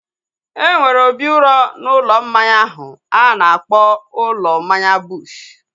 Enwere obi uro n'ụlọ mmanya ahu a na-akpọ ụlọ mmanya Bush